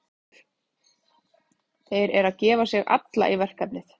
Þeir eru að gefa sig alla í verkefnið.